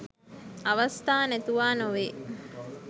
අවස්ථා නැතුවා නොවේ.